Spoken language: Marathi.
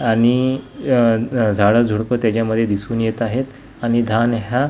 आणि झाडं अ अ झुडपं त्याच्यामध्ये दिसून येत आहेत आणि धान ह्या--